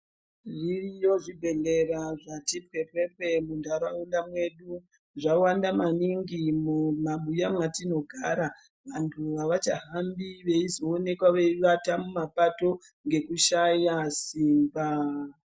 Zviriyo zvibhedhlera zvati bhebhebhe muntaraunda mwedu. Zvawanda maningi mumabuya mwatinogara. Vantu havachahambi veizoonekwa veivata mumapato ngekushaya simba.